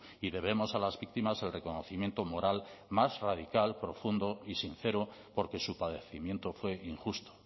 y debemos a las víctimas el reconocimiento moral más radical profundo y sincero porque su padecimiento fue injusto